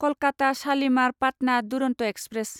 Kolkata Shalimar Patna Duronto express